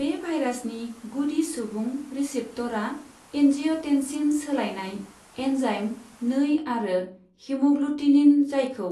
बे भायरासनि गुदि सुबुं रिसेप्टरआ एन्जिय'टेन्सिन सोलायनाय एन्जाइम नै आरो हेमग्लुटिनिन, जायखौ